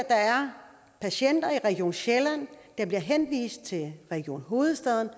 er patienter i region sjælland der bliver henvist til region hovedstaden